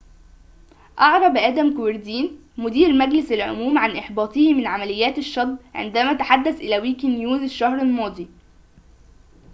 أعرب آدم كويردين مدير مجلس العموم عن إحباطه من عمليات الشطب عندما تحدث إلى ويكي نيوز الشهر الماضي